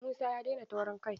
Musa ya daina taurin kai.